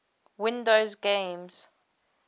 windows games